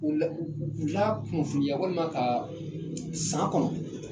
U la u la kunfinya walima ka san kɔnɔ